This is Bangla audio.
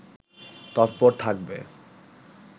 তৎপর থাকবে